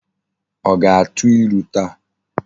O ga-atu ilu taa?